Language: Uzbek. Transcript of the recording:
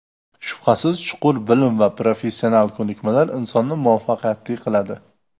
Shubhasiz, chuqur bilim va professional ko‘nikmalar insonni muvaffaqiyatli qiladi.